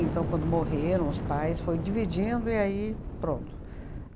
Então, quando morreram, os pais foi dividindo e aí pronto.